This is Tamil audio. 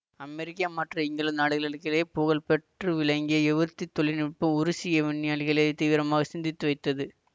அமெரிக்கா மற்றும் இங்கிலாந்து நாடுகளிடையே புகழ்பெற்று விளங்கிய ஏவூர்தித் தொழில்நுட்பம் உருசிய விஞ்ஞானிகளைத் தீவிரமாக சிந்தித்து வைத்தது